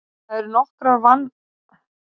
það eru nokkrir vankantar á þessari hugmynd